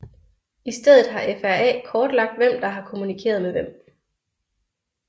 I stedet har FRA kortlagt hvem der har kommunikeret med hvem